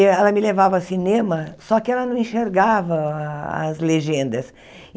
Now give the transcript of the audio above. Ela me levava ao cinema, só que ela não enxergava a as legendas.